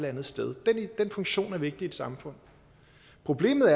andet sted den funktion er vigtig i et samfund problemet